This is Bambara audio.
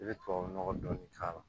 I bɛ tubabu nɔgɔ dɔɔnin k'a la